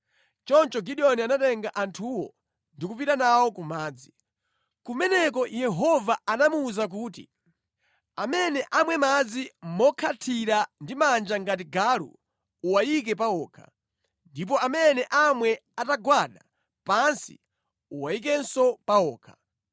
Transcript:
Choncho Gideoni anatenga anthuwo ndi kupita nawo ku madzi. Kumeneko Yehova anamuwuza kuti, “Amene amwe madzi mokhathira ndi manja ngati galu uwayike pawokha, ndipo amene amwe atagwada pansi uwayikenso pawokha.”